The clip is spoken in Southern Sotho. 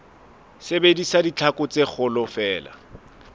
sebedisa ditlhaku tse kgolo feela